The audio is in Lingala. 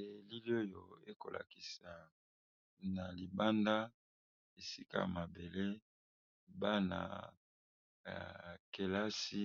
Elili oyo ekola kisa na libanda esika ya mabele bana kelasi